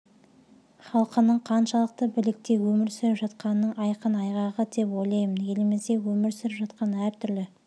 халқының қаншалықты бірлікте өмір сүріп жатқанының айқын айғағы деп ойлаймын елімізде өмір сүріп жатқан әртүрлі